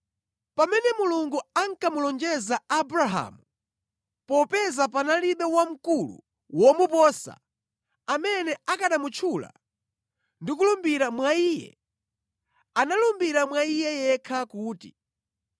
Pamene Mulungu ankamulonjeza Abrahamu, popeza panalibe wamkulu womuposa, amene akanamutchula ndikulumbira mwa Iye, analumbira mwa Iye yekha kuti,